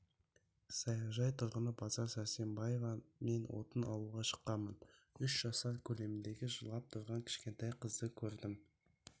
саяжай тұрғыны базар сәрсенбаева мен отын алуға шыққанмын үш жасар көлеміндегі жылап тұрған кішкентай қызды көрдім